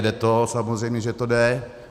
Jde to, samozřejmě že to jde.